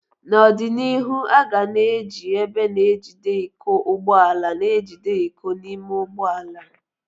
N'ọdịnihu, aga na eji ebe na-ejide iko ụgbọ ala na-ejide iko n'ime ụgbọ ala.